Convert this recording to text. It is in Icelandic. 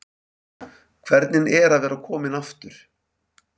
Hvernig er að vera kominn aftur?